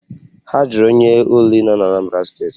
Ha jụrụ onye Uli nọ n'Anambra steeti